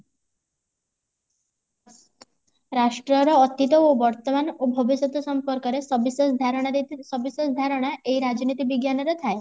ରାଷ୍ଟ୍ରର ଅତୀତ ଓ ବର୍ତମାନ ଓ ଭବିଷ୍ୟତ ସମ୍ପର୍କ ରେ ସବିଶେଷ ଧାରଣା ସବିଶେଷ ଧାରଣା ଏଇ ରାଜନୀତି ବିଜ୍ଞାନରେ ଥାଏ